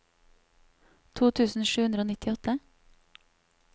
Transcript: to tusen sju hundre og nittiåtte